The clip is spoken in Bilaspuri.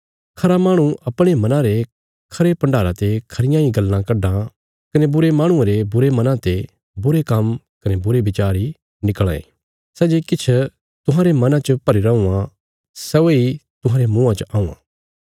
खरा माहणु अपणे मना रे खरे भण्डारा ते खरियां इ गल्लां कड्डां कने बुरे माहणुये रे बुरे मना ते बुरे काम्म कने बुरे बिचार इ निकल़ां ये सै जे किछ तुहांरे मना च भरीरा हुआं सै वेई तुहांरे मुँआं च औआं